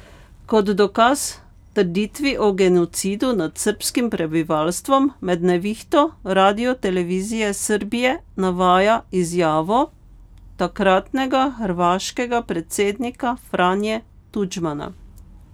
Kot dokaz trditvi o genocidu nad srbskim prebivalstvom med Nevihto Radio televizije Srbije navaja izjavo takratnega hrvaškega predsednika Franje Tudjmana.